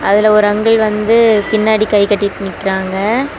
அதுல ஒரு அங்கிள் வந்து பின்னாடி கை கட்டிட்டு நிக்கிறாங்க.